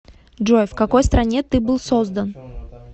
джой в какой стране ты был создан